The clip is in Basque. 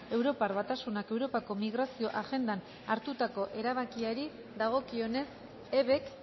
europar batasunak europako migrazio agendan hartutako erabakiari dagokionez ebk